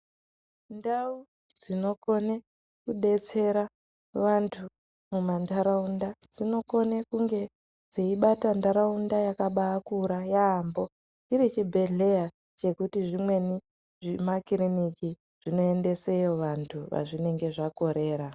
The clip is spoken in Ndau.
Ndau dzinokona kudetsera vantu mumandaraunda dzinokona kunge dzeibata ndaraunda yakabakura yambo chiri chibhedhlera chekuti zvimweni zvemakiriniki zvingoendeseyo vantu pazvinenge zvakorera.